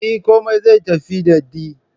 Eh, komai zai tafi dadi dai